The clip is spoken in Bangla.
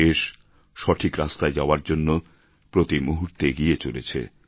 দেশ সঠিক রাস্তায় যাওয়ার জন্য প্রতি মুহূর্তে এগিয়ে চলেছে